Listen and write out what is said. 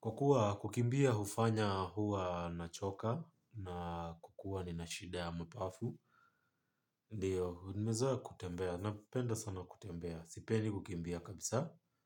kwa kuwa kukimbia hufanya huwa nachoka. Na kukuwa nina shida ya mapafu. Ndiyo, nimezoea kutembea. Napenda sana kutembea. Sipendi kukimbia kabisa.